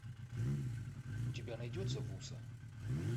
у тебя найдется вуса